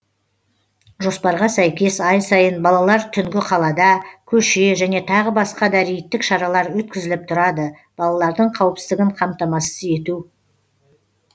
жоспарға сәйкес ай сайын балалар түнгі қалада көше және тағы басқа да рейдтік шаралар өткізіліп тұрады балалардың қауіпсіздігін қамтамасыз ету